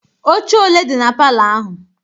Ọche ole dị na palọ ahụ?